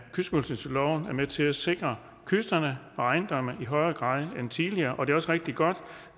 med til at sikre kysterne og ejendomme i højere grad end tidligere og det er også rigtig godt